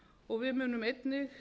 og við munum einnig